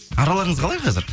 араларыңыз қалай қазір